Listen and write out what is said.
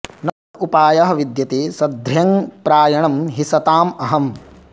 न उपायः विद्यते सध्र्यङ् प्रायणं हि सताम् अहम्